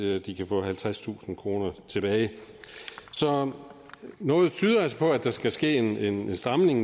de kan få halvtredstusind kroner tilbage så noget tyder altså på at der skal ske en stramning